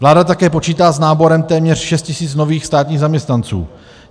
Vláda také počítá s náborem téměř 6 tis. nových státních zaměstnanců.